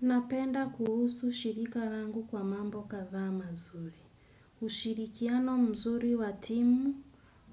Napenda kuhusu shirika langu kwa mambo kadhaa mazuri. Ushirikiano mzuri wa timu,